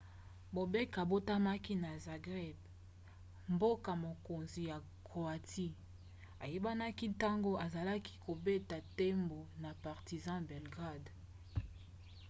bobek abotamaki na zagreb mboka-mokonzi ya croatie ayebanaki ntango azalaki kobeta ndembo na partizan belgrade